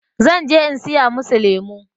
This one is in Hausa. zan je in saya musu lemo